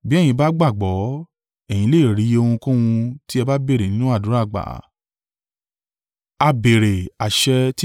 Bí ẹ̀yin bá gbàgbọ́, ẹ̀yin lè rí ohunkóhun tí ẹ bá béèrè nínú àdúrà gbà.”